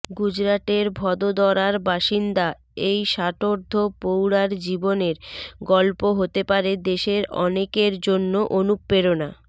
গুজরাটের ভদোদরার বাসিন্দা এই ষাটোর্ধ প্রৌঢ়ার জীবনের গল্প হতে পারে দেশের অনেকের জন্য অনুপ্রেরণা